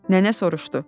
Nənə soruşdu.